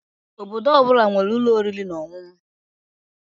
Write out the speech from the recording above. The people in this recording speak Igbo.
Obodo ọ bụla nwere ụlọ oriri na ọṅụṅụ